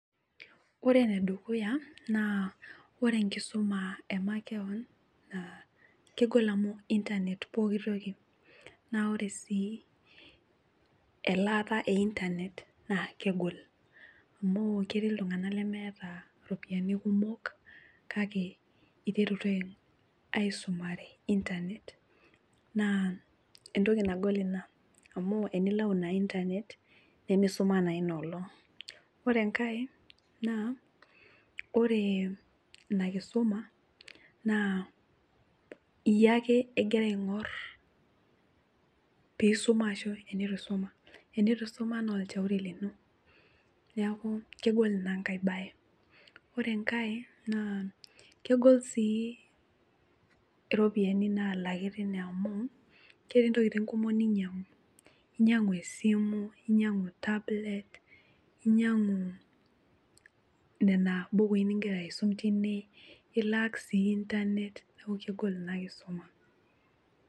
Ore enedukuya naa ore enkisuma emakeon naa kegol amu internet pooki toki ,na ore sii elaata internet naa kegol amu ketii iltunganak lemeeta ropiyiani kumok kake aiterutua aisumare internet naa neitoki nagol ina amu tenilau ina interet nemisim naa ina olong ore enkae naa ore ina keisuma iyieu ake egira aingor pee isuma ashu tenitusuma ,ore pee eitu isuma naa olchauri lino neeku kegol ina bae. ore enkae kegol sii iropiyiani naalaki tine amu ketii ntokiting kumok ninyangu inyangu esimu ,ninyangu tablet ninyangu nena bukui ningira aisum tine nilak sii internet neeku kegol ina kisuma.